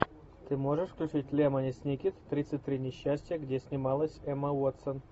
ты можешь включить лемони сникет тридцать три несчастья где снималась эмма уотсон